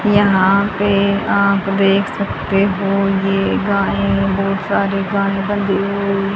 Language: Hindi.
यहां पे आप देख सकते हो ये गायें बहुत सारी गायें बंधी हुई--